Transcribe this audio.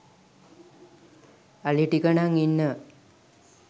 අලිටික නං ඉන්නව